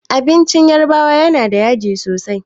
Abincin yarbawa yana da yaji sosai.